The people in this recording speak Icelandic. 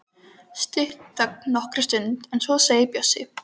Stutt þögn nokkra stund en svo segir Bjössi: